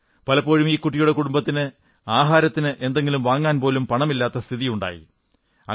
പലപ്പോഴും ഈ കുട്ടിയുടെ കുടുംബത്തിന് ആഹാരത്തിന് എന്തെങ്കിലും വാങ്ങാൻ പണമില്ലാത്ത സ്ഥിതിപോലുമുണ്ടായി